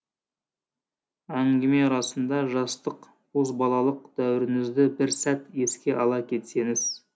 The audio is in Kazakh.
әңгіме арасында жастық бозбалалық дәуіріңізді бір сәт еске ала кетсеңіз